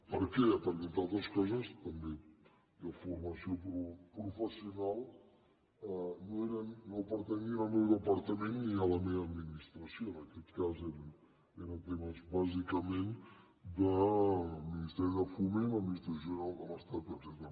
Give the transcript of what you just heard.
per què perquè entre altres coses també deformació professional no pertanyien al meu departament ni a la meva administra·ció en aquest cas eren temes bàsicament del minis teri de foment l’administració general de l’estat etcè·tera